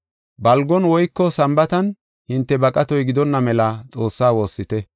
Balgon woyko Sambaatan hinte baqatoy gidonna mela Xoossaa woossite.